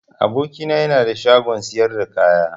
Aboki na yana da shagon siyar da kaya.